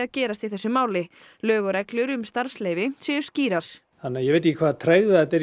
gerist í þessu máli lög og reglur um starfsleyfi séu skýrar ég veit ekki hvaða tregða þetta er í